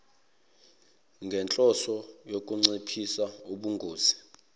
ngenhloso yokunciphisa ubungozi